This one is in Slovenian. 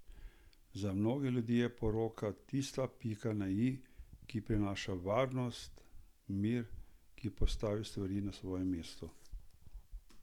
Za mnogo ljudi je poroka tista pika na i, ki prinaša varnost, mir, ki postavi stvari na svoje mesto.